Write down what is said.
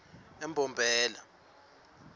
embombela